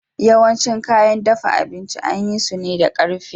Yawancin kayan dafa abinci an yi su ne da ƙarfe